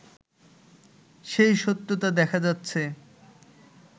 সেই সত্যতা দেখা যাচ্ছে